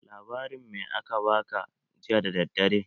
Labarin me a ka ba ka jiya da daddare?